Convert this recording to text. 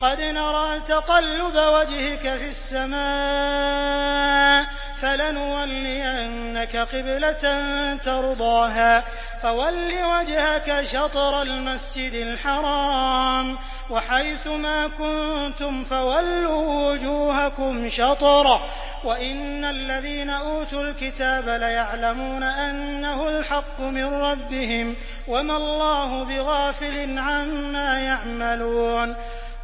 قَدْ نَرَىٰ تَقَلُّبَ وَجْهِكَ فِي السَّمَاءِ ۖ فَلَنُوَلِّيَنَّكَ قِبْلَةً تَرْضَاهَا ۚ فَوَلِّ وَجْهَكَ شَطْرَ الْمَسْجِدِ الْحَرَامِ ۚ وَحَيْثُ مَا كُنتُمْ فَوَلُّوا وُجُوهَكُمْ شَطْرَهُ ۗ وَإِنَّ الَّذِينَ أُوتُوا الْكِتَابَ لَيَعْلَمُونَ أَنَّهُ الْحَقُّ مِن رَّبِّهِمْ ۗ وَمَا اللَّهُ بِغَافِلٍ عَمَّا يَعْمَلُونَ